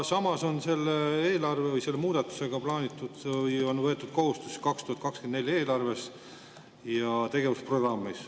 Samas on selle muudatusega võetud kohustusi 2024. aasta eelarves ja tegevusprogrammis.